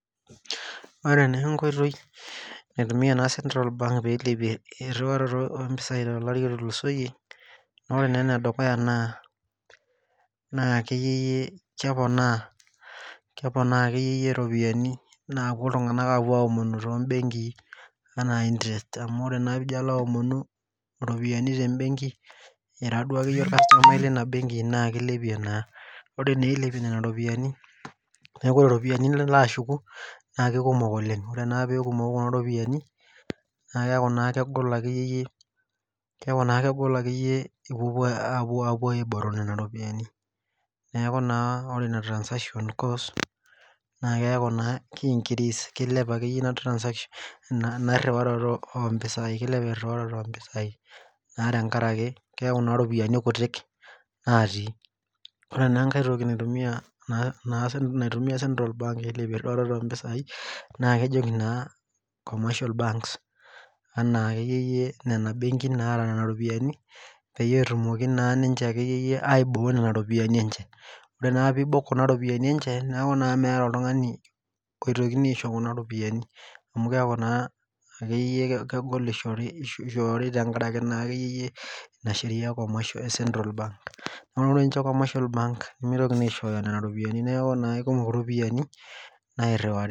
Ore enkoitoi naitumiya ena central bank nairiwarie iropiyiani tolari otulusoyie ore naa enedukuya naa akeyie keponaa iropiyiani naapuo iltung'anak aapuo aomonu toobenkii enaa interest amu tenaira duakeyie orkasutumai lina benki naa keilepie naa neeku ore iropiyiani niloaashuku naakeikukom oleng ore peeekumoku kuna ropiyiani naakeeku naa kegol ipuopuo aibok nena ropiyiani neeku ore ina transaction cost naakeeku naa keilep akeyie ina transaction ina riwaroto oompisai naa tenkaraki keeku iropiyiani kutik naatii ore naa enkai toki naitumiya central bank ailepie inkiriwaroto oompisai naa kejo naa comation banks enaa akeyie nena benkin naata nena ropiyiani peyie etumoki naa ninche akeyie aibukoi nena ropiyiani enche neeku naa meeta oltung'ani oitokini aisho kuna ropiyiani amu keeku naa akeyie kegol ishoori tenkaraki naa akeyie ina sheria e comatial central bank naa ore comatiol bank nemeitoko aishooyo nena ropiyiani neeku eikumok iropiyiani nairiwari.